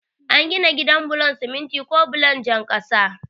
Ana gina gida bulon siminti ko bulon jan kasa.